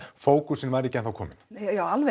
fókusinn var ekki ennþá kominn já